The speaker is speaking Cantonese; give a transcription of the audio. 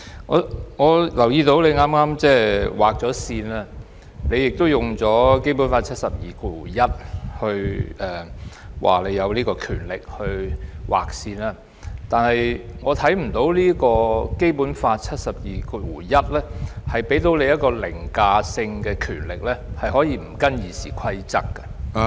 我留意到你剛才已劃線，並指《基本法》第七十二條第一項賦予你權力劃線，但我卻看不到《基本法》第七十二條第一項賦予你有凌駕性的權力，可以不依照《議事規則》......